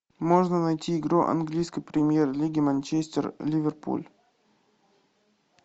можно найти игру английской премьер лиги манчестер ливерпуль